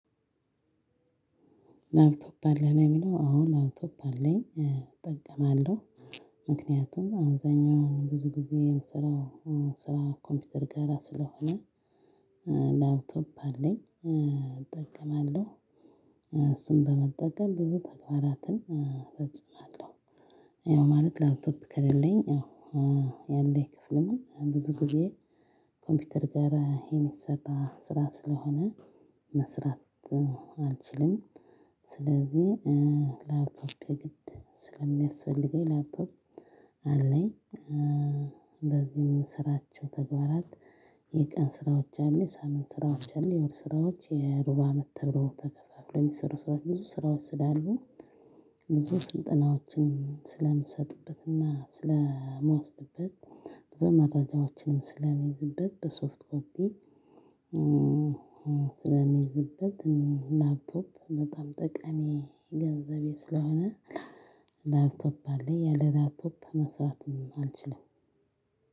ላፕቶፕ አለህ? ለሚለው አዎ ላፕቶፕ አለኝ። እጠቀማለሁ። ምክንያቱም አብዛኛው ብዙ ጊዜ የምሰራው ስራ ኮምፒውተር ጋራ ስለሆነ ላፕቶፕ አለኝ። እጠቀማለሁ። እሱን በመጠቀም ብዙ ተግባራትን እጽፋለሁ። ያው ማለት ላፕቶፕ ከሌለኝ ያው ያለኝ ክፍልም ብዙ ጊዜ ኮምፒውተር ጋራ የሚሰራ ስራ ስለሆነ መስራት አልችልም። ስለዚህ ላፕቶፕ የግድ ስለሚያስፈልገኝ ላፕቶፕ አለኝ። በዚህም የምስራቸው ተግባራት የቀን ስራዎች አሉ፣ የሳምንት ስራዎች አሉ የወር ስራዎች የሩባ አመት ተብሎ ተከፋፍለው የሚሰሩ ስራዎች ብዙ ስራዎች ስላሉ ብዙ ስልጠናዎችንም ስለምሰጥበትና ስለምወስድበት ብዙ መረጃዎችንም ስለምይዝበት በሶፍትፎት ስለሚይዝበት ላፕቶፕ በጣም ጠቀሚ ገንዘቤ ስለሆነ ላፕቶፕ አለኝ ያለ ላፕቶፕ መስራትም አልችልም።